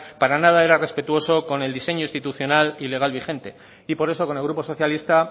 para nada era respetuoso con el diseño institucional y legal vigente y por eso con el grupo socialista